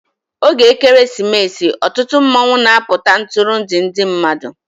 Oge Ekeresimesi, ọtụtụ mmanwụ na-apụta Ntụrụndụ ndị mmadụ